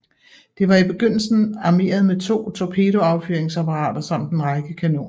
Det var i begyndelsen armeret med to torpedoaffyringsapparater samt en række kanoner